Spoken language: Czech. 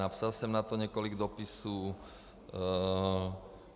Napsal jsem k tomu několik dopisů.